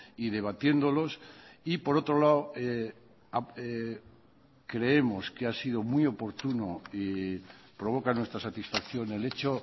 y debatiéndolos y por otro lado creemos que ha sido muy oportuno y provoca nuestra satisfacción el hecho